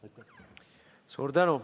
Suur tänu!